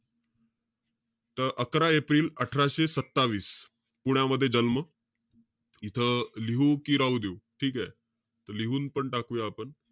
त अकरा एप्रिल अठराशे सत्तावीस, पुण्यामध्ये जन्म, इथं लिहू कि राहू देऊ? ठीकेय. त लिहुनपण टाकूया आपण.